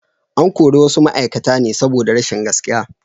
An kori wasu ma’aikata ne saboda rashin gaskiya.